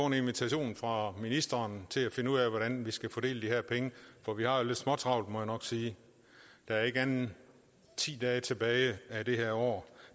en invitation fra ministeren til at finde ud af hvordan vi skal fordele de her penge for vi har jo lidt småtravlt må jeg nok sige der er ikke andet end ti dage tilbage af det her år